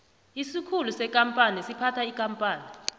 isikhulu sekampani siphatha ikampani